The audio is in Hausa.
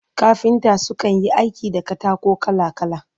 Kafinta su kan Yi aiki da katako kala kala